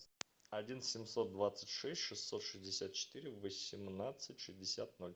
один семьсот двадцать шесть шестьсот шестьдесят четыре восемнадцать шестьдесят ноль